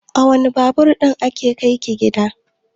A wane Babur ɗin aka kai ki gida?